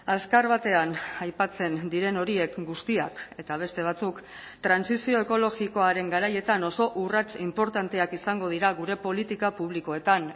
azkar batean aipatzen diren horiek guztiak eta beste batzuk trantsizio ekologikoaren garaietan oso urrats inportanteak izango dira gure politika publikoetan